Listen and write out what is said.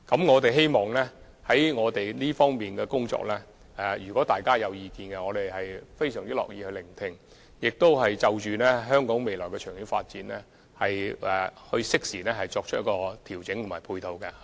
我們非常樂意聆聽大家對這方面工作的任何意見，並會就香港未來的長遠發展適時作出調整和配套。